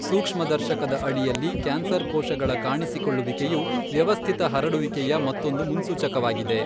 ಸೂಕ್ಷ್ಮದರ್ಶಕದ ಅಡಿಯಲ್ಲಿ ಕ್ಯಾನ್ಸರ್ ಕೋಶಗಳ ಕಾಣಿಸಿಕೊಳ್ಳುವಿಕೆಯು ವ್ಯವಸ್ಥಿತ ಹರಡುವಿಕೆಯ ಮತ್ತೊಂದು ಮುನ್ಸೂಚಕವಾಗಿದೆ.